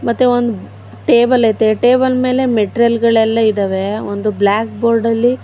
ಮತ್ತೆ ಒಂದ ಟೇಬಲ್ ಅತೆ ಟೇಬಲ್ ಮೇಲೆ ಮೆಟ್ರಲ್ ಗಳೆಲ್ಲಾ ಇದಾವೆ ಒಂದು ಬ್ಲಾಕ್ ಬೋರ್ಡ್ ಲ್ಲಿ --